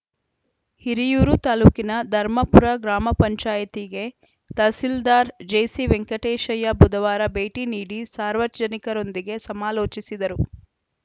ಹಿರಿಯೂರು ತಾಲೂಕಿನ ಧರ್ಮಪುರ ಗ್ರಾಮ ಪಂಚಾಯಿತಿಗೆ ತಹಸೀಲ್ದಾರ್‌ ಜಿಸಿ ವೆಂಕಟೇಶಯ್ಯ ಬುಧವಾರ ಭೇಟಿ ನೀಡಿ ಸಾರ್ವಜನಿಕರೊಂದಿಗೆ ಸಮಾಲೋಚಿಸಿದರು